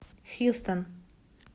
хьюстон